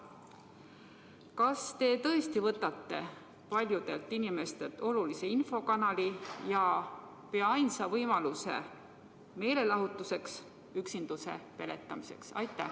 Kas te tõesti võtate paljudelt inimestelt olulise infokanali ja pea ainsa võimaluse meelelahutuseks, üksinduse peletamiseks?